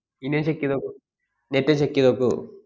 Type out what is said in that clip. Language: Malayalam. ഇനിയൊന്ന് check ചെയ്തു നോക്കൂ, netcheck ചെയ്ത് നോക്കൂ.